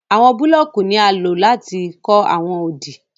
Àwọn búlọọ̀kì ní à lọ̀ láti kọ̀ awọn òdì.